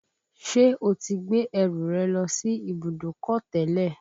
Ṣé o ti gbé ẹrù rẹ lọ sí ibùdókọ̀ tẹ́lẹ̀